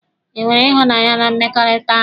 E nwere ịhụnanya na mmekọrịta ahụ?